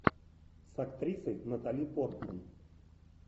с актрисой натали портман